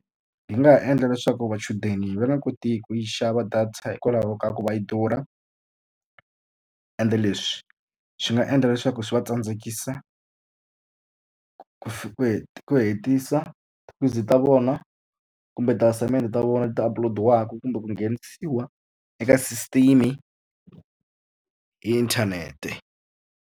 Hi nga ha endla leswaku machudeni va nga koti ku yi xava data hikwalaho ka ku va yi durha, ende leswi swi nga endla leswaku swi va tsandzekisa ku ku hetisa ta vona kumbe ti-assignment ta vona ti-upload-waka kumbe ku nghenisiwa eka system hi inthanete.